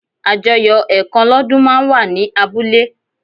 Àjọyọ̀ ẹ̀kan lọ́dún máa ń wà ní abúlé